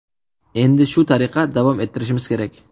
Endi shu tariqa davom ettirishimiz kerak.